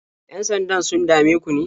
Yan-sandan sun dame ku ne?